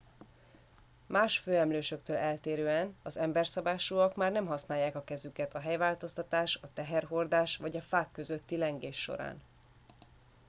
más főemlősöktől eltérően az emberszabásúak már nem használják a kezüket a helyváltoztatás a teherhordás vagy a fák közötti lengés során